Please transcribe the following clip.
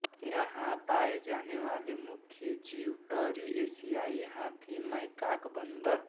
यहाँ पाये जाने वाले मुख्य जीव टरीएशियाई हाथी मैकाक बंदर